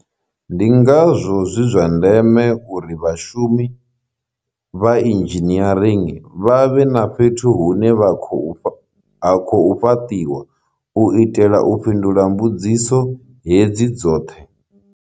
Ndi ngazwo zwi zwa ndeme uri vhashumi vha inzhiniering vha vhe fhethu hune ha khou fhaṱiwa u itela u fhindula mbudziso hedzi dzoṱhe.